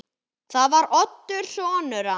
Það var Oddur sonur hans.